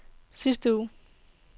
sidste uge